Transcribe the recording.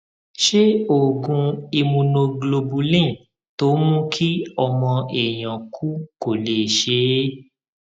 ṣé oògùn immunoglobulin tó ń mú kí ọmọ èèyàn kú kò lè ṣe é